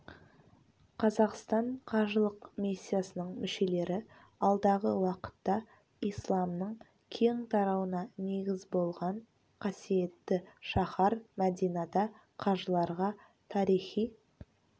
қазақстан қажылық миссиясының мүшелері алдағы уақытта исламның кең тарауына негіз болған қасиетті шаһар мәдинада қажыларға тарихи